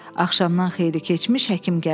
Axşamdan xeyli keçmiş həkim gəldi.